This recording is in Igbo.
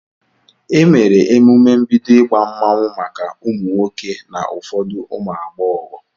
Emere emume mbido ịgba mmanwụ maka ụmụ nwoke na ụfọdụ ụmụ agbọghọ.